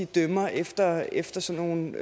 dømmer efter efter sådan nogle